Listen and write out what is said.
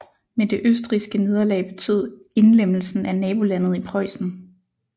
Men det østrigske nederlag betød indlemmelsen af nabolandet i Preussen